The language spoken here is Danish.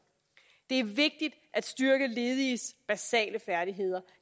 det er vigtigt at styrke lediges basale færdigheder